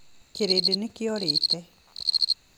Kĩrĩndĩ nĩ kĩorĩte.